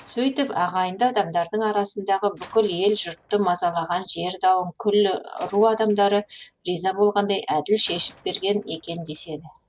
сөйтіп ағайынды адамдардың арасындагы бүкіл ел жұртты мазалаған жер дауын күллі ру адамдары риза болғандай әділ шешіп берген екен деседі